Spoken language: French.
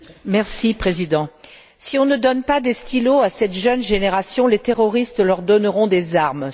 Monsieur le Président, si on ne donne des stylos à cette jeune génération, les terroristes leur donneront des armes.